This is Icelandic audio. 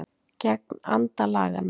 Gegn anda laganna